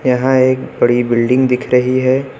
यहां एक बड़ी बिल्डिंग दिख रही है।